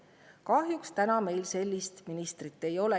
Kahjuks täna meil sellist ministrit ei ole.